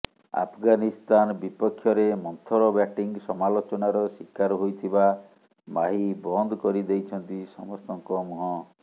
ଆଫଗାନିସ୍ତାନ ବିପକ୍ଷରେ ମନ୍ଥର ବ୍ୟାଟିଂ ସମାଲୋଚନାର ଶିକାର ହୋଇଥିବା ମାହି ବନ୍ଦ କରି ଦେଇଛନ୍ତି ସମସ୍ତଙ୍କ ମୁହଁ